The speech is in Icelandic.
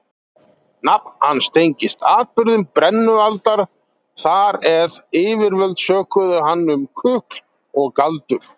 Nafn hans tengist atburðum brennualdar þar eð yfirvöld sökuðu hann um kukl og galdur.